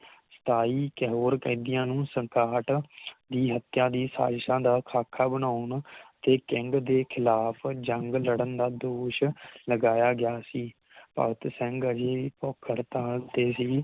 ਸਤਾਈ ਤੇ ਹੋਰ ਕੈਦੀਆਂ ਨੂੰ ਸੰਕਹਾੱਟ ਦੀ ਹੱਤਿਆ ਦੀ ਸਾਜਿਸ਼ਾ ਦਾ ਖਾਖਾਂ ਬਣਾਉਣ ਦੇ King ਦੇ ਖਿਲਾਫ ਜੰਗ ਲੜਨ ਦਾ ਦੋਸ਼ ਲਗਾਇਆ ਗਿਆ ਸੀ ਭਗਤ ਸਿੰਘ ਅਜੇਹੀ ਭੁੱਖ ਹੜਤਾਲ ਤੇ ਹੀ